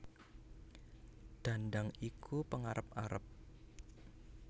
Dhandhang iku pengarep arep